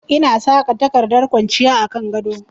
Ina saka takardar ƙwanciya a kan gado